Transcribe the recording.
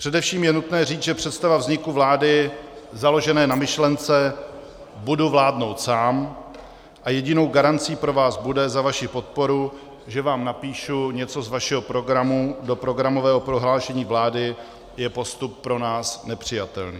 Především je nutné říct, že představa vzniku vlády založené na myšlence "budu vládnout sám a jedinou garancí pro vás bude za vaši podporu, že vám napíšu něco z vašeho programu do programového prohlášení vlády" je postup pro nás nepřijatelný.